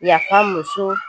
Yafa muso